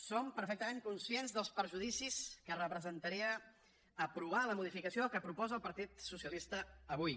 som perfectament conscients dels perjudicis que representaria aprovar la modificació que proposa el partit socialista avui